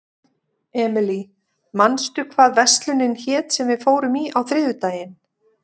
Emely, manstu hvað verslunin hét sem við fórum í á þriðjudaginn?